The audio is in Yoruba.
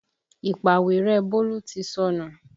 Ìpàwérẹ́ Bólú ti sọnù